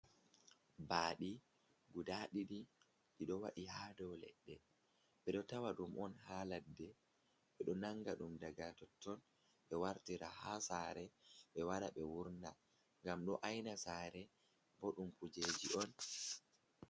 Baɗi guda ɗiɗi, ɗiɗo waee ha dow leɗɗe. Ɓeɗo ta waɗum on ha ladde. Ɓeɗo nanga ɗum daga totton ɓe wartira ha sare, be wara ɓe wurna ngam ɗo aina sare.